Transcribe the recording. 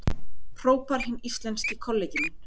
hrópar hinn íslenski kollegi minn.